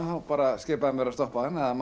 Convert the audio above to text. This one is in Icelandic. bara skipaði mér að stoppa þannig að